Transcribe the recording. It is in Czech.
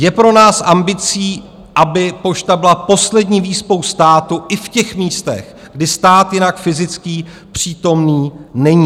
Je pro nás ambicí, aby pošta byla poslední výspou státu i v těch místech, kde stát jinak fyzicky přítomný není.